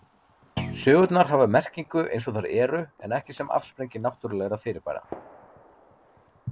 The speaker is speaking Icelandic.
Sögurnar hafa merkingu eins og þær eru en ekki sem afsprengi náttúrulegra fyrirbæra.